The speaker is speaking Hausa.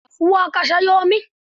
A kasuwa aka siyo min.